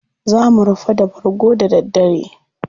Za mu rufa da bargo da daddare.